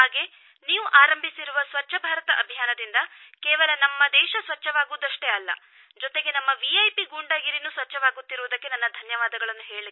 ಹಾಗೇ ನೀವು ಆರಂಭಿಸಿರುವ ಸ್ವಚ್ಛ ಭಾರತ ಅಭಿಯಾನದಿಂದ ಕೇವಲ ನಮ್ಮ ದೇಶ ಸ್ವಚ್ಛವಾಗುವುದಷ್ಟೇ ಅಲ್ಲ ಜೊತೆಗೆ ನಮ್ಮ ವಿ ಐ ಪಿ ಗೂಂಡಾಗಿರಿನೂ ಸ್ವಚ್ಛವಾಗುತ್ತಿರುವುದಕ್ಕೆ ನನ್ನ ಧನ್ಯವಾದಗಳು